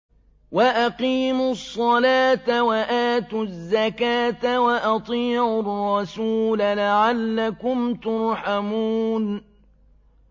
وَأَقِيمُوا الصَّلَاةَ وَآتُوا الزَّكَاةَ وَأَطِيعُوا الرَّسُولَ لَعَلَّكُمْ تُرْحَمُونَ